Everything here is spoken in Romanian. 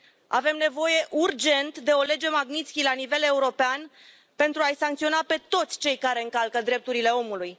Avem nevoie urgent de o lege Magnistky la nivel european, pentru a i sancționa pe toți cei care încalcă drepturile omului.